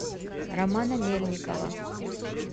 романа мельникова